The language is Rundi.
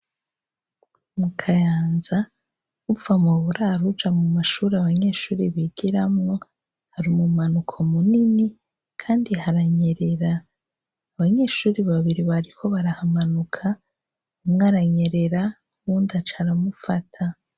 Mu kayanza, uva mu buraro uja mu mashure abanyeshure bigiramwo hari umumanuko munini kandi haranyerera. Abanyeshure babiri bariko barahamanuka umwe aranyerera, uwundi aca aragufata.